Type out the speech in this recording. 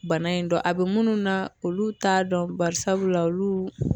Bana in dɔn a bi munnu na olu t'a dɔn barisabula olu